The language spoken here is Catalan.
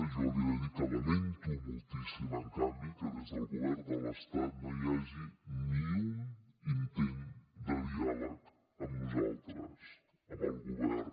jo li he de dir que lamento moltíssim en canvi que des del govern de l’estat no hi hagi ni un intent de diàleg amb nosaltres amb el govern